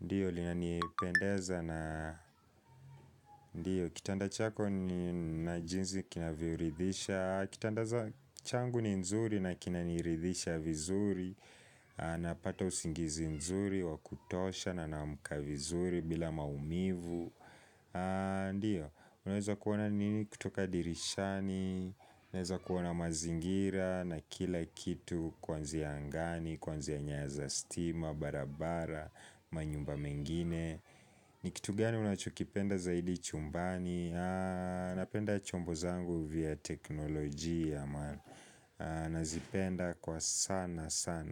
ndiyo, linanipendeza na, ndiyo, kitanda chako ni na jinsi kinavyoridhisha Kitanda changu ni nzuri na kinaniridhisha vizuri, napata usingizi nzuri, wa kutosha na naamka vizuri bila maumivu Ndiyo, unaweza kuona nini kutoka dirishani Unaweza kuona mazingira na kila kitu Kwanzia angani, kwanzia nyaya za stima, barabara, manyumba mengine ni kitu gani unachokipenda zaidi chumbani Napenda chombo zangu vya teknolojia maana Nazipenda kwa sana sana.